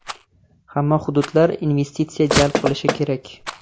Hamma hududlar investitsiya jalb qilishi kerak.